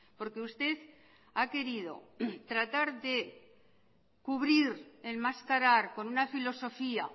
porque usted ha querido tratar de cubrir enmascarar con una filosofía